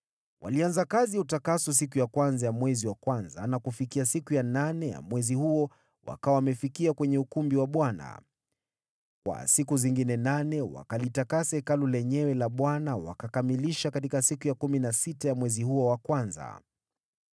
Walianza kazi ya utakaso siku ya kwanza ya mwezi wa kwanza na kufikia siku ya nane ya mwezi huo wakawa wamefikia kwenye ukumbi wa Bwana . Kwa siku zingine nane wakalitakasa Hekalu lenyewe la Bwana wakakamilisha katika siku ya kumi na sita ya mwezi huo wa kwanza.